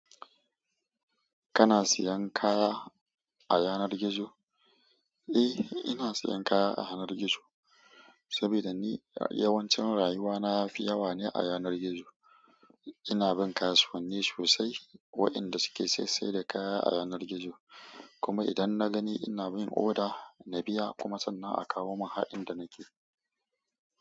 Kana siyan kaya a yanar gizo? Eh, ina siyan kaya a yanar gizo sabida ni yawancin rayuwa na ya fi yawa ne a yanar gizo. Ina bin kasuwanni sosai wa'inda suke saisai da kaya a yanar gizo, kuma idan na gani ina min oda, na biya kuma sannan a kawo mun har inda nake.